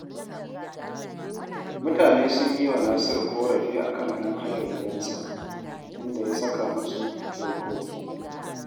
Mutane sun yi wa Nasiru ƙorafi a kan ‘yan hayar gidansa, inda ya saka musu dokoki